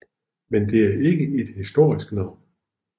Men det er ikke et historisk navn